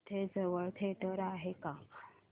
इथे जवळ थिएटर आहे का